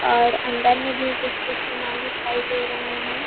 और अंदर में भी कुछ-कुछ सामान दिखाई दे रहे हे।